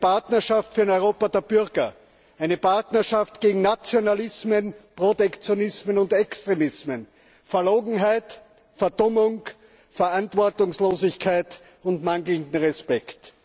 Eine Partnerschaft für ein Europa der Bürger, eine Partnerschaft gegen Nationalismen, Protektionismen und Extremismen, Verlogenheit, Verdummung, Verantwortungslosigkeit und mangelnden Respekt.